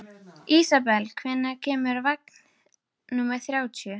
Ísabel, hvenær kemur vagn númer þrjátíu?